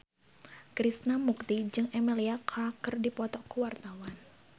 Krishna Mukti jeung Emilia Clarke keur dipoto ku wartawan